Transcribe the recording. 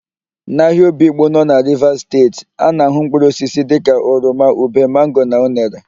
N'ahịa Obigbo na Rivas Steeti,a na-ahụ mpkụrụosisi dịka oroma, ube, mango na unere.